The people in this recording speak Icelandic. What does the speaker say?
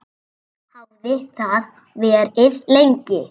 Þannig hafði það verið lengi.